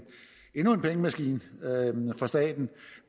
endnu en pengemaskine for staten